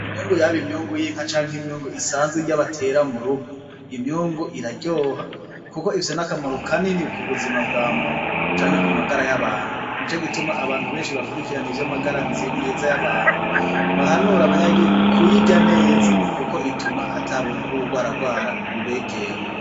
Imyungu yaba imyungu y'inka canke irya batera m'urugo imyungu iraryoha kuko ifise n'akamaro kanini k'ubuzima bw'amuntu canke k'umagara y'abantu nico gituma abantu beshi bakurikirana ivyamagara meza y'abantu bahanura abanyagihugu kuyirya neza kuko bituma atabuntu bw'uburwararwara bubegera.